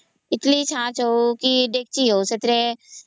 ଇଟିଲି ଛାଞ୍ଚ ହଉ କି ଡେ଼କଚି ହଉ ସେଥିରେ